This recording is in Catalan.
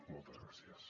moltes gràcies